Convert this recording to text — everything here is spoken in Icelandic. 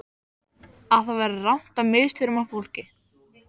Að það væri rangt að misþyrma fólki.